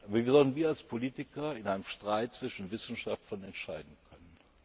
haben. Wie sollen wir als Politiker in einem Streit zwischen Wissenschaftlern entscheiden können?